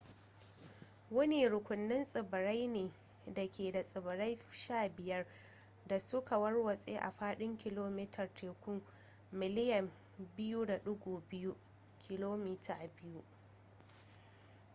wani rukunin tsibirai ne da ke da tsibirai 15 da suke warwatse a faɗin kilomitar teku miliyan 2.2 km2